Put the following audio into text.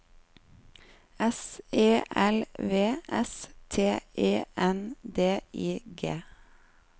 S E L V S T E N D I G